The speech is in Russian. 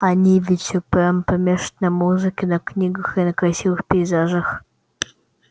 они ведь все прямо помешаны на музыке на книгах и на красивых пейзажах